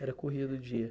Era corrido o dia.